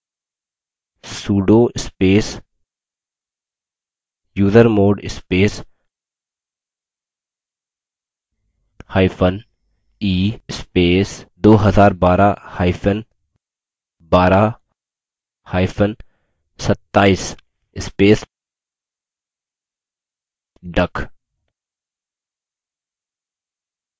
sudo space usermod spacehyphen e space 2012hyphen 12hyphen 27 space duck